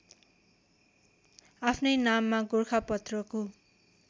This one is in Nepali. आफ्नै नाममा गोरखापत्रको